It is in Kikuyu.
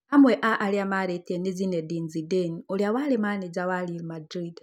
Amwe a arĩa maarĩtie nĩ Zinedine Zidane ũrĩa warĩ manĩja wa real madrid